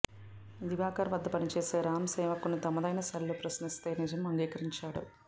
దివాకర్ వద్ద పనిచేసే రామ్ సేవక్ను తమదైన శైలిలో ప్రశ్నిస్తే నిజం అంగీకరించాడు